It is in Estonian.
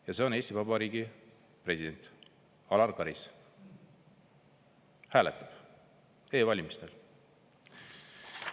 Ja see on Eesti Vabariigi president Alar Karis, kes hääletab e-valimistel.